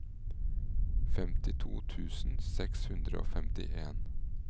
femtito tusen seks hundre og femtien